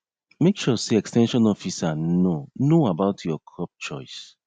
make sure say ex ten sion officer know know about your crop choice